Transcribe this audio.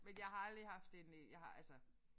Men jeg har aldrig haft en øh jeg har altså